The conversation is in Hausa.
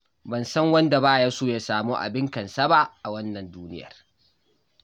Ban san wanda ba ya so ya samu abin kansa ba a wannan duniyar.